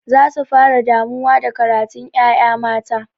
Za su fara damuwa da karatun ƴaƴa mata.